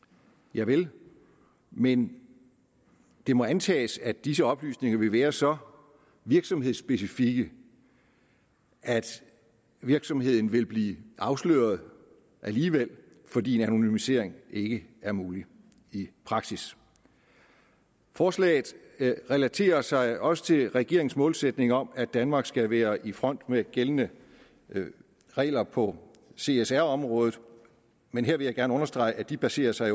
javel men det må antages at disse oplysninger vil være så virksomhedsspecifikke at virksomheden vil blive afsløret alligevel fordi en anonymisering ikke er mulig i praksis forslaget relaterer sig også til regeringens målsætning om at danmark skal være i front med gældende regler på csr området men her vil jeg gerne understrege at det baserer sig